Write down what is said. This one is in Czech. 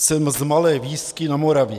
Jsem z malé vísky na Moravě.